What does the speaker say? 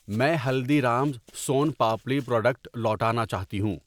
میں Haldiram's son papdi product لوٹانا چاہتی ہوں